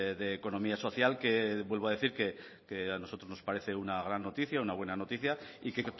de economía social que vuelvo a decir que a nosotros nos parece una gran noticia una buena noticia y que